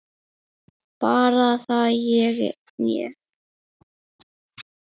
Margrét er farin.